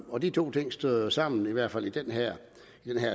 og de to ting støder jo sammen i hvert fald i den her